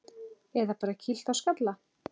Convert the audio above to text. Eða bara kýlt á skalla!